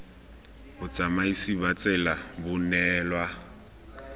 botsamaisi ba tsela bo neelwa